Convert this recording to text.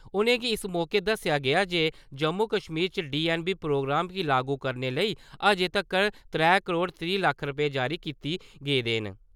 उ'नेंगी इस मौके दस्सेआ गेआ जे जम्मू-कश्मीर च डीऐन्नबी प्रोग्राम गी लागू करने लेई अज्जें तक्कर त्रै करोड़ त्रीह् लक्ख रपेऽ जारी कित्ते गेदे न ।